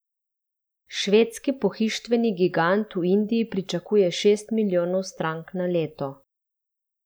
Švedski pohištveni gigant v Indiji pričakuje šest milijonov strank na leto.